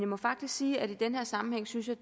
må faktisk sige at i den her sammenhæng synes jeg